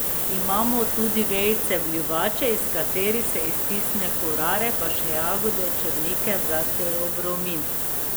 Imamo tudi vejice bljuvače, iz katerih se iztisne kurare, pa še jagode črnike za teobromin ...